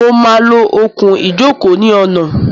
Mo máa lo okùn-ìjókòó ní ọ̀nà.